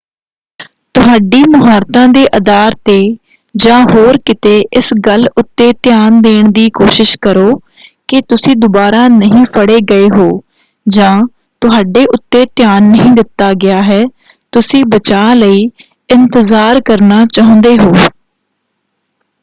ਤੁਹਾਡੀ ਮੁਹਾਰਤਾਂ ਦੇ ਆਧਾਰ 'ਤੇ ਜਾਂ ਹੋਰ ਕਿੱਤੇ ਇਸ ਗੱਲ ਉੱਤੇ ਧਿਆਨ ਦੇਣ ਦੀ ਕੋਸ਼ਿਸ਼ ਕਰੋ ਕਿ ਤੁਸੀਂ ਦੁਬਾਰਾ ਨਹੀਂ ਫੜ੍ਹੇ ਗਏ ਹੋ ਜਾਂ ਤੁਹਾਡੇ ਉੱਤੇ ਧਿਆਨ ਨਹੀਂ ਦਿੱਤਾ ਗਿਆ ਹੈ ਤੁਸੀਂ ਬਚਾਅ ਲਈ ਇੰਤਜ਼ਾਰ ਕਰਨਾ ਚਾਹੁੰਦੇ ਹੋ।